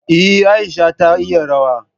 Eh, Aisha ta iya rawa.